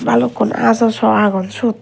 balukkun aajaw saw agon syot.